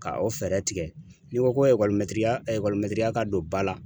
Ka o fɛɛrɛ tigɛ n'i ko ko ekɔlimɛtiriya ekɔlimɛtiriya ka don ba la